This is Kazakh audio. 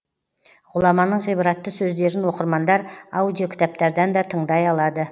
ғұламаның ғибратты сөздерін оқырмандар аудиокітаптардан да тыңдай алады